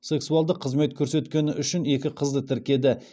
сексуалдық қызмет көрсеткені үшін екі қызды тіркеді